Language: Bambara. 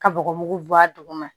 Ka bɔgɔ mugu bɔ a duguma